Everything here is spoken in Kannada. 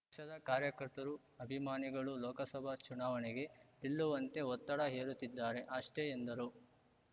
ಪಕ್ಷದ ಕಾರ್ಯಕರ್ತರು ಅಭಿಮಾನಿಗಳು ಲೋಕಸಭಾ ಚುನಾವಣೆಗೆ ನಿಲ್ಲುವಂತೆ ಒತ್ತಡ ಹೇರುತ್ತಿದ್ದಾರೆ ಅಷ್ಟೆ ಎಂದರು